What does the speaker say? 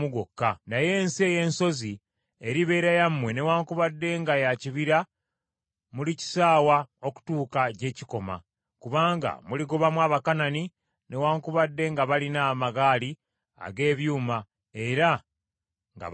naye ensi ey’ensozi eribeera yammwe, newaakubadde nga ya kibira mulikisaawa okutuuka gye kikoma, kubanga muligobamu Abakanani newaakubadde nga balina amagaali ag’ebyuma era nga baamaanyi.”